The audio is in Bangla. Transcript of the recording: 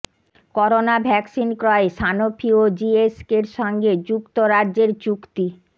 করোনা ভ্যাকসিন ক্রয়ে সানোফি ও জিএসকের সঙ্গে যুক্তরাজ্যের চুক্তি